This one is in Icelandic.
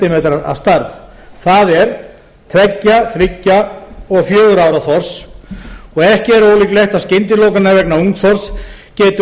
sm að stærð það er tveggja þriggja og fjögurra ára þorsks og ekki er ólíklegt að skyndilokanir vegna ungþorsks geti